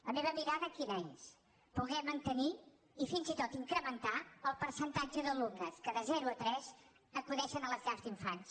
la meva mirada quina és poder mantenir i fins i tot incrementar el percentatge d’alumnes que de zero a tres acudeixen a les llars d’infants